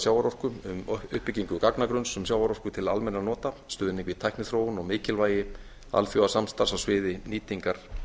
sjávarorku um uppbyggingu gagnagrunns um sjávarorku til almennra nota stuðning við tækniþróun og mikilvægi alþjóðasamstarfs á sviði nýtingar